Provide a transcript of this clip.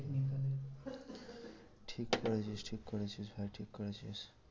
ঠিক করেছিস ঠিক করেছিস ভাই ঠিক করেছিস।